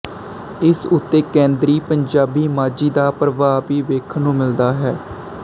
ਇਸ ਉੱਤੇ ਕੇਂਦਰੀ ਪੰਜਾਬੀ ਮਾਝੀ ਦਾ ਪ੍ਰਭਾਵ ਵੀ ਵੇਖਣ ਨੂੰ ਮਿਲਦਾ ਹੈ